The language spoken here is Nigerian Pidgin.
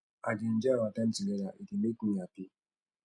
i dey enjoy our time together e dey make me happy